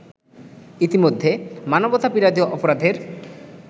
ইতিমধ্যে মানবতা-বিরোধী অপরাধের